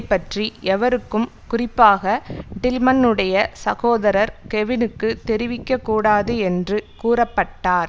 பற்றி எவருக்கும் குறிப்பாக டில்மன்னுடைய சகோதரர் கெவினுக்கு தெரிவிக்கக்கூடாது என்று கூறப்பட்டார்